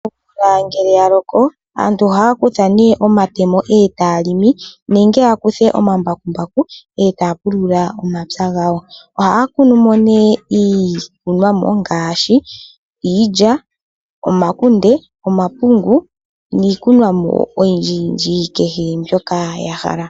Omvula ngele ya loko, aantu ohaa kutha ne omatemo e taa limi, nenge ya kuthe omambakumbaku, e taa pulula omapya gawo. Ohaa kunu mo ne iikunomwa ngaashi iilya, omakunde, omapungu niikunwa mo oyindji yindji kehe mbyoka ya hala.